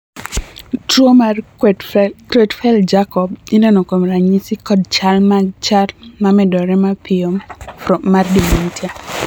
tuo mar Creutzfeldt Jakob ineno kuom ranyisi kod chal mag chal mamedore mapiyo mar dementia